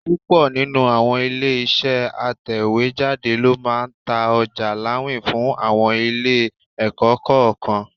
Púpọ̀ nínú àwọn ilé-iṣẹ́ atẹ̀wéjáde ló máa ń ta ọjà láwìn fún àwọn ilé-ẹ̀kọ́ kọ̀ọ̀kan.